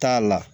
T'a la